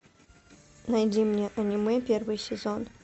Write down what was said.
найди мне аниме первый сезон